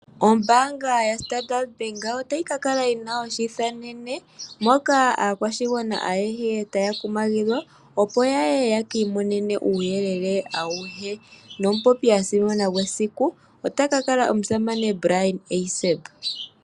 Ombaanga yaStandard Bank otayi ka kala yi na oshiithanene moka aakwashigwana ayehe taya kumagidhwa, opo ya ye ye ki imonene uuyelele auhe nomupopi a simana gwesiku otaka kala omusamane Bryan Eiseb.